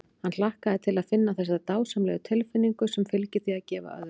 Hann hlakkaði til að finna þessa dásamlegu tilfinnigu sem fylgir því að gefa öðrum.